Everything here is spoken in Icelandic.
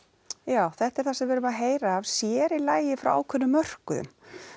já þetta er eitthvað sem við erum að heyra af sér í lagi frá ákveðnum mörkuðum